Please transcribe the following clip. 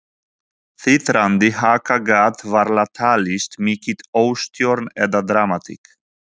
Titrandi haka gat varla talist mikil óstjórn eða dramatík.